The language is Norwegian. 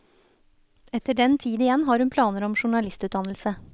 Etter den tid igjen har hun planer om journalistutdannelse.